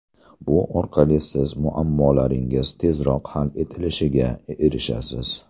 Bu orqali siz muammolaringiz tezroq hal etilishiga erishasiz.